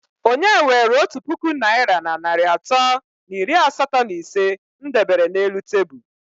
Onye were otu puku naira na narị atọ na iri asatọ na ise m debere n'elu tebụl?